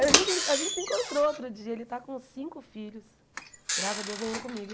A gente a gente se encontrou outro dia, ele está com cinco filhos, graças a Deus nenhum comigo,